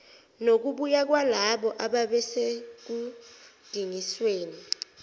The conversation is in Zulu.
nokubuya kwalabo ababesekudingisweni